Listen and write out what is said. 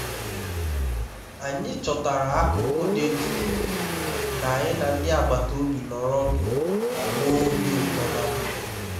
anyị chọtara akụkụ dị jụụ ka anyị na ndị agbata obi nọrọ ọdụ ma nwee obi ụtọ ná mgbede